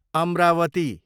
Amravati